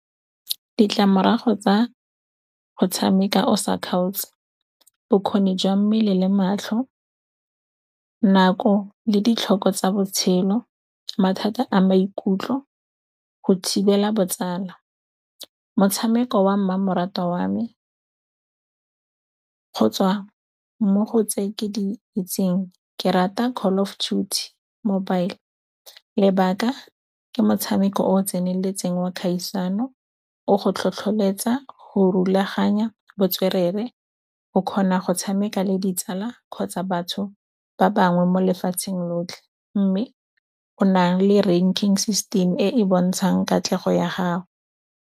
Ditlamorago tsa go tshameka o sa kgaotse, bokgoni jwa mmele le matlho, nako le ditlhoko tsa botshelo, mathata a maikutlo, go thibela botsala. Motshameko wa mmamoratwa wa me, go tswa mo go tse ke di itseng ke rata Call of Duty mobile, lebaka ke motshameko o o tseneletseng wa kgaisano. O go tlhotlholetsa go rulaganya botswerere, o kgona go tshameka le ditsala kgotsa batho ba bangwe mo lefatsheng lotlhe mme o na le ranking system e e bontshang katlego ya gago.